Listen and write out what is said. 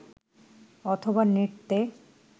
অথবা নৃত্যে